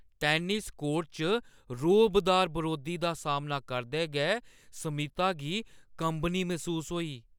Tennis court च रोह्‌बदार बरोधी दा सामना करदे गै स्मिता गी कंबनी मसूस होई।